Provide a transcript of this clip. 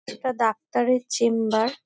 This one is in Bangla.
এটা ডাক্তার -এর চেম্বার ।